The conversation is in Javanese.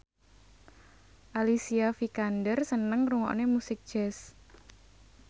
Alicia Vikander seneng ngrungokne musik jazz